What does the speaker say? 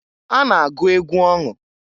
A na -agụ egwu ọṅụ.